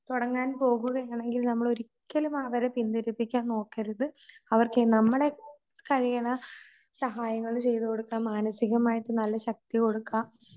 തുടങ്ങാൻ പോകുകയാണെങ്കിൽ നമ്മൾ ഒരിക്കലും അവരെ പിന്തിരിപ്പിക്കാൻ നോക്കരുത്. അവർക്ക് നമ്മളെ കഴിയണ സഹായങ്ങള് ചെയ്ത്കൊടുക്കാം മാനസികമായിട്ട് നല്ല ശക്തി കൊടുക്കാം